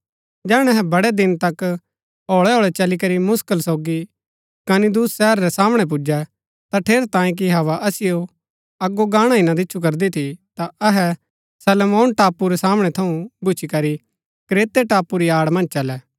जैहणै अहै बड़ै दिन तक होळैहोळै चली करी मुसकल सोगी कनिदुस शहर रै सामणै पुजै ता ठेरैतांये कि हवा असिओ अगो गाणा ही ना दिच्छु करदी थी ता अहै सलमोन टापू रै सामणै थऊँ भूच्ची करी क्रेते टापू री आड़ मन्ज चलै